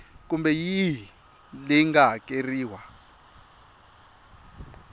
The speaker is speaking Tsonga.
kumbe yihi leyi nga hakeriwa